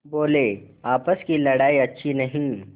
बोलेआपस की लड़ाई अच्छी नहीं